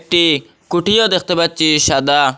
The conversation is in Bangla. একটি কুটিও দেখতে পাচ্চি সাদা।